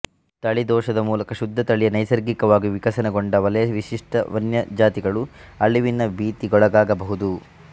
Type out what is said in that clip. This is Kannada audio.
ತಳಿ ದೋಷದ ಮೂಲಕ ಶುದ್ಧ ತಳಿಯ ನೈಸರ್ಗಿಕವಾಗಿ ವಿಕಸನಗೊಂಡ ವಲಯವಿಶಿಷ್ಟ ವನ್ಯ ಜಾತಿಗಳು ಅಳಿವಿನ ಭೀತಿಗೊಳಗಾಗಬಹುದು